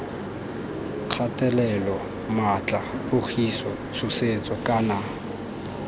kgatelelo maatla pogiso tshosetso kana